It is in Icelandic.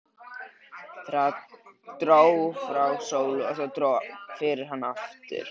Það dró frá sólu og það dró fyrir hana aftur.